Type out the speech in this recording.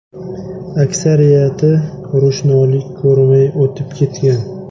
Aksariyati ro‘shnolik ko‘rmay o‘tib ketgan.